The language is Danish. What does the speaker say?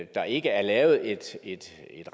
der ikke er lavet et et